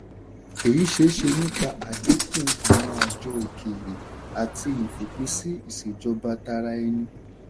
èyí ṣeéṣe nípa àdínkù àwọn ààjọ òkèrè àti ìfòpinsí ìṣèjọba-tara-ẹni.